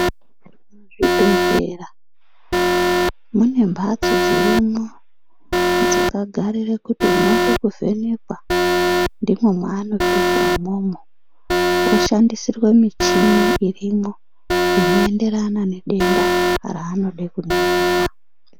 Muzvibhedhlera mune mbatso dzirimwo dzakagarire kuti unode kuvhenekwa ndimwo mwaanopinda umwomwo, oshandisirwe michini irimwo inoenderana nedenda raanode kuningirwa.